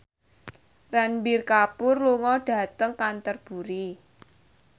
Ranbir Kapoor lunga dhateng Canterbury